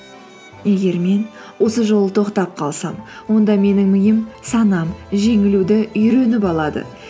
егер мен осы жолы тоқтап қалсам онда менің миым санам жеңілуді үйреніп алады